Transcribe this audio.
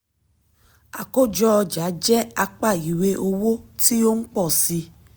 àkójọ ọjà jẹ apá ìwé owó tí ó ń pọ̀ sí i.